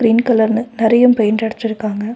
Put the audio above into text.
Green கலர்ன்னு நறையு paint அடிச்சிருக்காங்க.